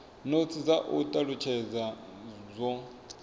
notsi dza u talutshedza zwo